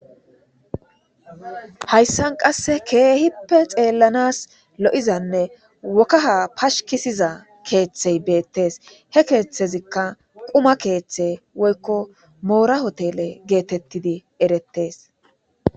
Hayissani qassi kehipe xelanasi lo'izanne wokaha pashikiza keethi bettesi he ketheka quma kethe woyiko mora hotele getetidi eretesi